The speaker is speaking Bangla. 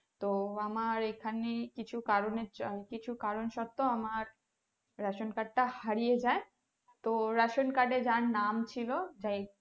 তো আমার এখানে কিছু কারণে কিছু কারণ সত্য আমার ration card টা হারিয়ে যায়। তো ration card যার নাম ছিল, যেই,